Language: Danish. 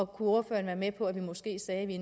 kunne ordføreren være med på at vi måske sagde at vi